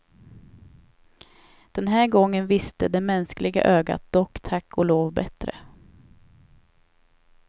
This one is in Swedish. Den här gången visste det mänskliga ögat dock tack och lov bättre.